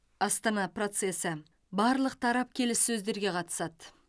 астана процесі барлық тарап келіссөздерге қатысады